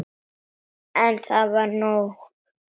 En það var nóg.